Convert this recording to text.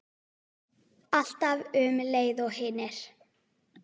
Alltaf um leið og hinir.